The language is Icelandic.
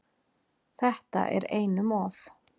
Þetta er einum of